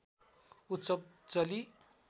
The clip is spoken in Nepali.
उत्सव चलि